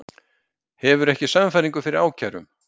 Hefur ekki sannfæringu fyrir ákærum